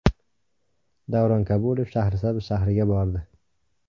Davron Kabulov Shahrisabz shahriga bordi.